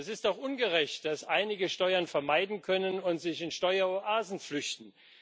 Es ist doch ungerecht, dass einige Steuern vermeiden können und sich in Steueroasen flüchten.